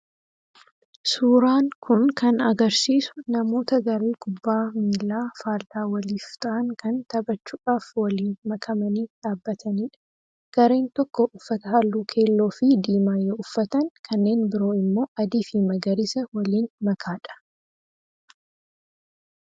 Suuraan kun kan agarsiisu namoota garee kubbaa miilaa faallaa waliif ta'an kan taphachuudhaaf waliin makamanii dhaabbatanidha. Gareen tokko uffata halluu keelloo fi diimaa yoo uffatan kanneen biroo immoo adii fi magariisa waliin makaadha.